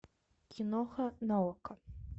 киноха на окко